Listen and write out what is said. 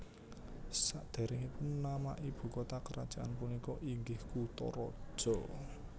Sadéréngipun nama ibu kota kerajaan punika inggih Kutaraja